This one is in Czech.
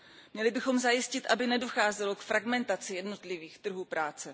Měli bychom zajistit, aby nedocházelo k fragmentaci jednotlivých trhů práce.